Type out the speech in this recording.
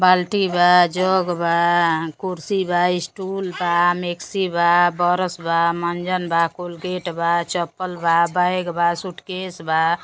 बाल्टी बा। जग बा। कुर्सी बा। स्टूल बा। मेक्सी बा। बरस बा। मंजन बा। कोलगेट बा। चप्पल बा। बैग बा सूटकेस बा।